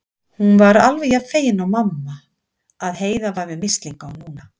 Hún var alveg jafn fegin og mamma að Heiða var með mislinga núna.